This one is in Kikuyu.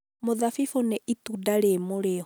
mũthabibũ nĩ itunda rĩ mũrĩo.